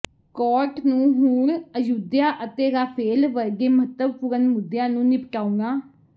court ਨੂੰ ਹੁਣ ਅਯੁੱਧਿਆ ਅਤੇ ਰਾਫੇਲ ਵਰਗੇ ਮਹੱਤਵਪੂਰਨ ਮੁੱਦਿਆਂ ਨੂੰ ਨਿਪਟਾਉਣਾ